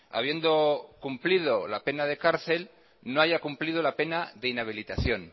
habiendo cumplido la pena de cárcel no haya cumplido la pena de inhabilitación